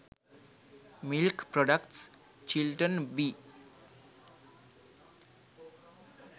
milk products chilton wi